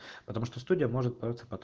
потому что студия может браться пото